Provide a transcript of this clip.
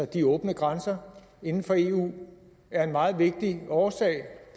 de åbne grænser inden for eu er en meget vigtig årsag